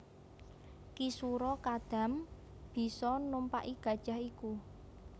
Ki Sura Kadam bisa numpaki gajah iku